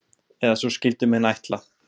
Eða svo skyldu menn ætla.